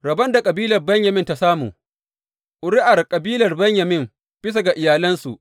Rabon da kabilar Benyamin ta samu Ƙuri’ar kabilar Benyamin bisa ga iyalansu.